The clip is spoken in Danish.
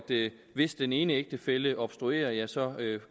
hvis den ene ægtefælle obstruerer ja så